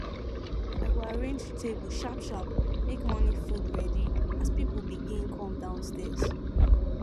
i go arrange table sharp sharp make morning food ready as people begin come downstaird